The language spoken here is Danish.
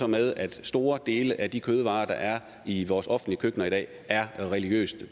med at store dele af de kødvarer der er i vores offentlige køkkener i dag er religiøst